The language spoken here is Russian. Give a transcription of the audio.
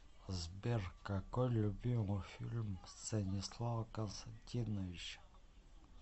сбер какой любимый фильм станислава константиновича